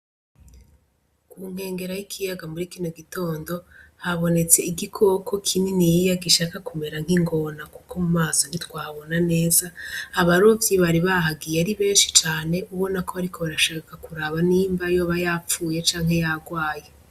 Ku nkengera y'ikiyaga muri kino gitondo habonetse igikoko kininiya gishaka kumera nk'ingona, kuko mu maso ntitwahabona neza abarovyi bari bahagiye ari benshi cane ubona ko bariko barashaka kuraba nimba yoba yapfuye canke yagwaye.